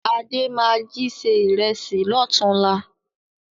Adé máa jí se ìrẹsì lọ́tùn-únla